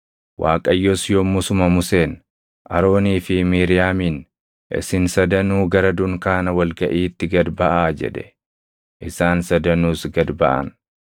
Waaqayyos yommusuma Museen, Aroonii fi Miiriyaamiin, “Isin sadanuu gara dunkaana wal gaʼiitti gad baʼaa” jedhe. Isaan sadanuus gad baʼan.